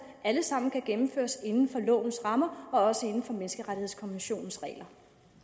alle sammen kan gennemføres inden for lovens rammer og også inden for menneskerettighedskommissionens regler